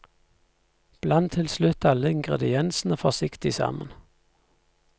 Bland til slutt alle ingrediensene forsiktig sammen.